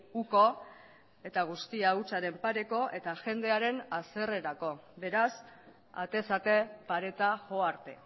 uko eta guztia hutsaren pareko eta jendearen haserrerako beraz atez ate pareta jo arte